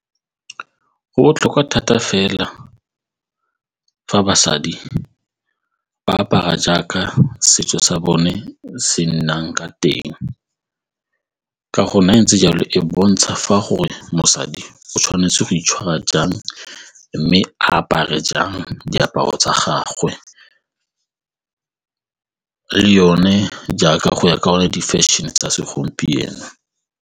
Go botlhokwa thata fela fa basadi ba apara jaaka setso sa bone se nnang ka teng ka go ntse jalo e bontsha fa gore mosadi o tshwanetse go itshwara jang mme a apare jang diaparo tsa gagwe le yone jaaka go ya ka gonne di-fashion-e tsa segompieno.